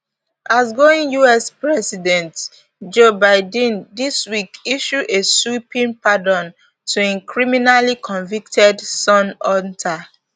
outgoing us president joe biden dis week issue a sweeping pardon to im criminally convicted son hunter